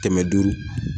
Kɛmɛ duuru